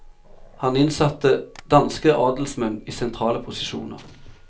Han innsatte danske adelsmenn i sentrale posisjoner.